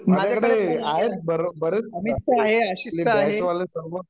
माझ्याकडे आहेत बरेच आपलूया बॅच वले सर्व